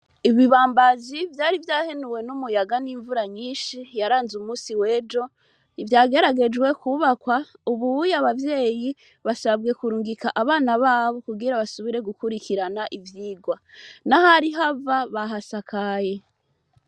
Ibibambazi vyari vyahenuwe n'umuyaga n'imvura nyinshi yaranze umunsi w'ejo. Ivyageragejwe kwubakwa, ubuya abavyeyi basabwe kurungika abana babo kugira basubire gukurikirana ivyigwa. N'ahari hava bahasakaye.